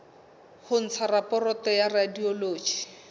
ho ntsha raporoto ya radiology